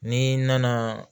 Ni nana